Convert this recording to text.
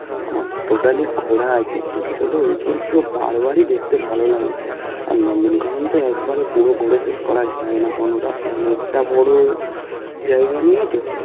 আমার totally ঘোরা আছে কিন্তু হলেও ওই জিনিসগুলো বার বারই দেখতে ভালো লাগে আর নন্দনকানন তো একবারে পুরো করে শেষ করা যায় না কোন টা অনেকটা বড় জায়গা নিয়ে তো